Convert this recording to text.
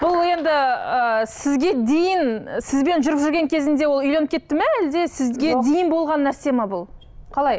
бұл енді ы сізге дейін сізбен жүріп жүрген кезінде ол үйленіп кетті ме әлде сізге дейін болған нәрсе ме бұл қалай